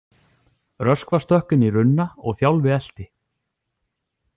Röskva stökk inn í runna og Þjálfi elti.